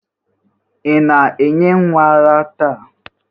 Ị na-enye nwa ara taa?